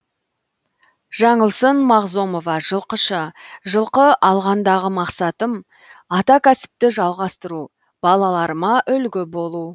жаңылсын мағзомова жылқышы жылқы алғандағы мақсатым ата кәсіпті жалғастыру балаларыма үлгі болу